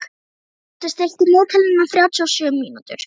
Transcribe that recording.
Ingibjartur, stilltu niðurteljara á þrjátíu og sjö mínútur.